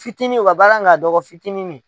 Fitini o ka baara ka dɔgɔ fitininin.